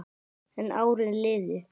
En árin liðu.